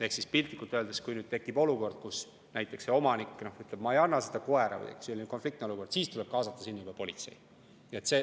Ehk siis piltlikult öeldes, kui tekib näiteks olukord, kus omanik ütleb, et ma ei anna seda koera, kuigi on konfliktne olukord, siis tuleb kaasata juba politsei.